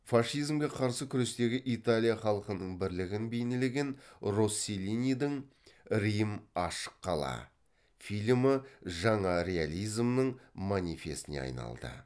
фашизмге қарсы күрестегі италия халқының бірлігін бейнелеген росселлинидің рим ашық қала фильмі жаңа реализмнің манифесіне айналды